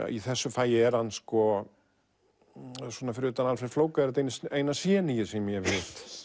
í þessu fagi er hann svona fyrir utan Alfreð flóka er þetta eina sem ég hef hitt